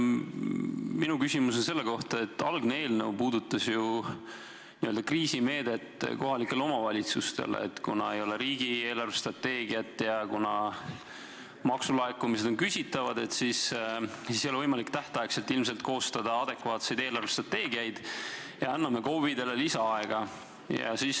Minu küsimus on selle kohta, et algne eelnõu puudutas n-ö kriisimeedet kohalikele omavalitsustele – kuna ei ole riigi eelarvestrateegiat ja kuna maksulaekumised on küsitavad, siis ei ole võimalik tähtaegselt ilmselt koostada adekvaatseid eelarvestrateegiaid, ja seetõttu anname KOV-idele lisaaega.